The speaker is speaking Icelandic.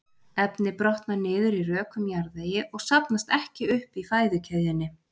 Efnið brotnar niður í rökum jarðvegi og safnast ekki upp í fæðukeðjunni.